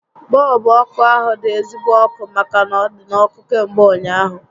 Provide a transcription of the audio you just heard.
Bọọlbụ ọkụ ahu dị ezigbo ọkụ màkà na ọ dị n'ọkụ kamgbe ụnyaahụ